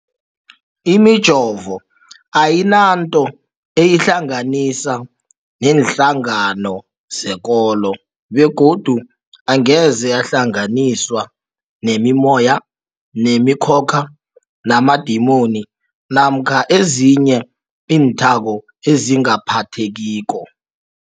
Imijovo ayinanto eyihlanganisa neenhlangano zekolo begodu angeze yahlanganiswa nemimoya, nemi khokha, namadimoni namkha ezinye iinthako ezingaphathekiko.